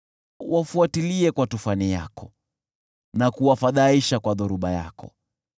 wafuatilie kwa tufani yako na kuwafadhaisha kwa dhoruba yako.